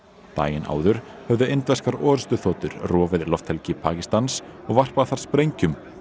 daginn áður höfðu indverskar orrustuþotur rofið lofthelgi Pakistans og varpað þar sprengjum